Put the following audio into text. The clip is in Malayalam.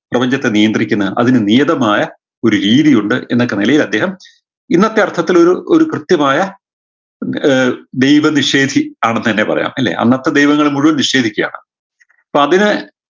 പ്രപഞ്ചത്തെ നിയന്ത്രിക്കുന്ന അതിന് നിയതമായ ഒരു രീതിയുണ്ട് എന്നൊക്കെ നിലയിൽ അദ്ദേഹം ഇന്നത്തെ അർത്ഥത്തിൽ ഒരു ഒരു കൃത്യമായ ആഹ് ദൈവനിഷേധി ആണെന്നെന്നെ പറയാം അല്ലേ അന്നത്തെ ദൈവങ്ങളെ മുഴുവൻ നിഷേധിക്കുകയാണ് പ്പൊ അതിനെ